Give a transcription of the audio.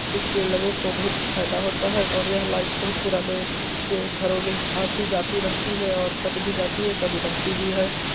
इससे लोगों को बहुत फायदा होता है और यह लाइट बहुत पुराने से घरो में आती-जाती रहती है और कट भी जाती है। कभी रहती भी है।